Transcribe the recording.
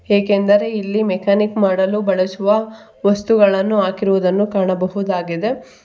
ಏಕೆಂದರೆ ಇಲ್ಲಿ ಮೆಕಾನಿಕ್ ಮಾಡಲು ಬಳಸುವ ವಸ್ತುಗಳನ್ನು ಹಾಕಿರುವುದನ್ನು ಕಾಣಬಹುದಾಗಿದೆ.